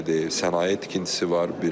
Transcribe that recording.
Sənaye tikintisi var.